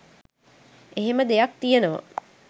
එහෙම දෙයක් තියෙනවා